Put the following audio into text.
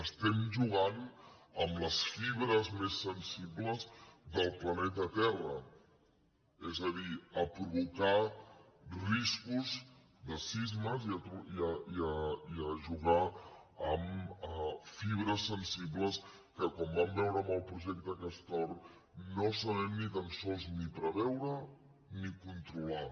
estem jugant amb les fibres més sensibles del planeta terra és a dir a provocar riscos de sismes i a jugar amb fibres sensibles que com vam veure amb el projecte castor no sabem ni tan sols ni preveure ni controlar